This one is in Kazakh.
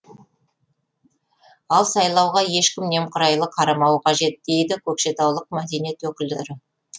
ал сайлауға ешкім немқұрайлы қарамауы қажет дейді көкшетаулық мәдениет өкілдері